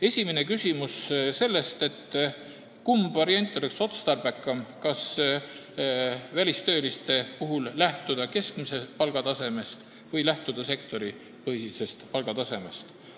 Esimene küsimus, kumb variant oleks otstarbekam, kas välistööliste puhul lähtuda keskmisest palgatasemest või sektoripõhisest palgatasemest.